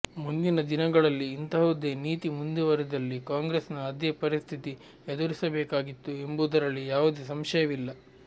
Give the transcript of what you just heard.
ಮುಂದಿನ ದಿನಗಳಲ್ಲಿ ಇಂತಹುದೇ ನೀತಿ ಮುಂದುವರಿದ್ದಲ್ಲಿ ಕಾಂಗ್ರೆಸ್ನ ಅದೇ ಪರಿಸ್ಥಿತಿ ಎದುರಿಸಬೇಕಾಗಿತ್ತು ಎಂಬುದರಲ್ಲಿ ಯಾವುದೇ ಸಂಶಯವಿಲ್ಲ